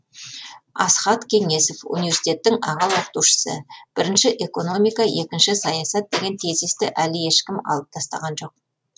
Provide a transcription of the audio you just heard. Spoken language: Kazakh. асхат кеңесов университеттің аға оқытушысы бірінші экономика екінші саясат деген тезисті әлі ешкім алып тастаған жоқ